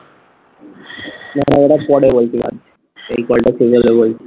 ওটা পরে বলছি এই call টা শেষ হলে বলছি